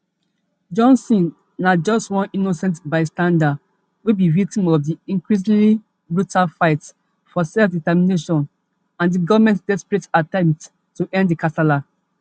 johnson na just one innocent bystander wey be victim of di increasingly brutal fight for selfdetermination and di goment desperate attempts to end di kasala